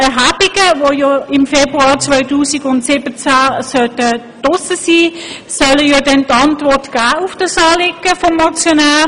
Zu Ziffer 1: Die im Februar 2017 durchgeführten Erhebungen sollen eine Antwort geben auf das Anliegen des Motionärs.